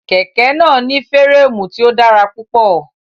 Kẹ̀kẹ́ náà ní férémù tí ó dára púpọ̀.